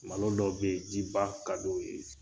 Malo dɔ be ye jiba ka d'o ye